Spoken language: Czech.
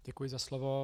Děkuji za slovo.